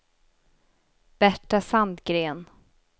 Berta Sandgren